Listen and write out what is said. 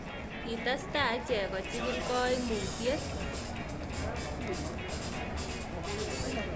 Kitestaai ichek kochigiil kaimutyiet